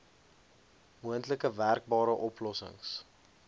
moontlik werkbare oplossings